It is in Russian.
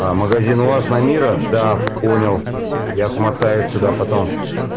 а магазин у вас на мира да понял я съезжу туда потом